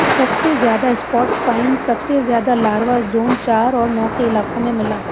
सबसे ज्यादा spot fine सबसे ज्यादा लार्वा जाेन चार और नाै के इलाकाें में मिला